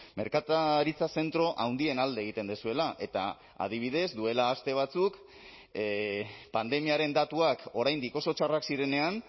merkataritza zentro handien alde egiten duzuela eta adibidez duela aste batzuk pandemiaren datuak oraindik oso txarrak zirenean